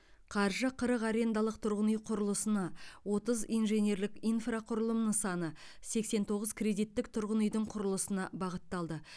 қаржы қырық арендалық тұрғын үй құрылысына отыз инженерлік инфрақұрылым нысаны сексен тоғыз кредиттік тұрғын үйдің құрылысына бағытталды